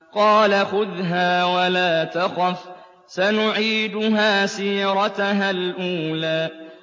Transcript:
قَالَ خُذْهَا وَلَا تَخَفْ ۖ سَنُعِيدُهَا سِيرَتَهَا الْأُولَىٰ